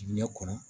Diɲɛ kɔnɔ